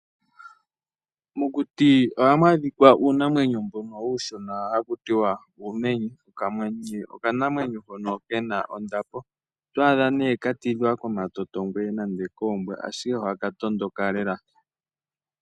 Mokuti ohamu adhika uunamweyo mbono uushona haku tiwa uumenye. Okamenye okanamwenyo hono ke na ondapo, oto adha nee ka tidhwa komatotongwe nande koombwa ashike ohaka tondoka lela.